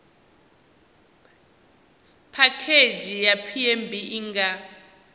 phakhedzhi ya pmb i nga